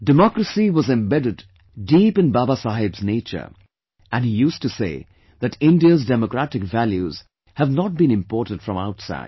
Democracy was embedded deep in Baba Saheb's nature and he used to say that India's democratic values have not been imported from outside